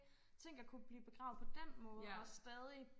tænkt at kunne blive begravet på den måde og stadig